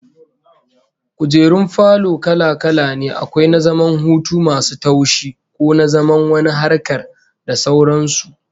Kujerun falo kala-kala ne, akwai na zaman hutu masu taushi, ko na zaman wani harkar, da sauran su